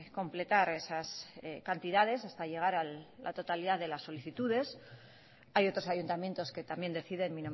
completar esas cantidades hasta llegar a la totalidad de las solicitudes hay otros ayuntamientos que también deciden